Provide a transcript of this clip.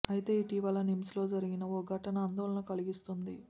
అయితే ఇటీవల నిమ్స్ లో జరిగిన ఓ ఘటన ఆందోళన కలిగిస్తోంది